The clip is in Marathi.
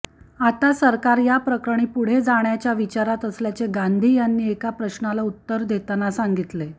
आता सरकार या प्रकरणी पुढे जाण्याच्या विचारात असल्याचे गांधी यांनी एका प्रश्नाला उत्तर देताना सांगितले